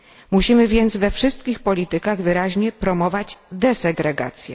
Musimy więc we wszystkich politykach wyraźnie promować desegregację.